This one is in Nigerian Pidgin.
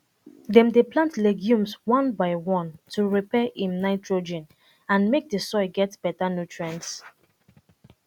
dem dey plant legumes one by one to repair um nitrogen and make d soil get beta nutrients